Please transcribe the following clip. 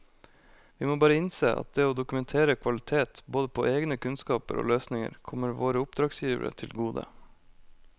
Vi må bare innse at det å dokumentere kvalitet både på egne kunnskaper og løsninger kommer våre oppdragsgivere til gode.